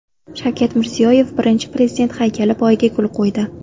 Shavkat Mirziyoyev Birinchi Prezident haykali poyiga gul qo‘ydi.